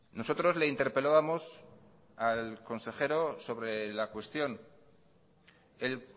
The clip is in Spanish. nosotros le interpelábamos al consejero sobre la cuestión el